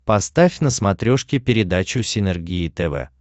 поставь на смотрешке передачу синергия тв